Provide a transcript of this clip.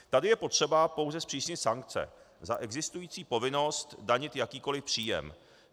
Tady je potřeba pouze zpřísnit sankce za existující povinnost danit jakýkoli příjem.